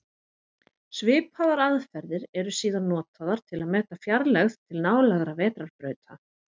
Svipaðar aðferðir eru síðan notaðar til að meta fjarlægð til nálægra vetrarbrauta.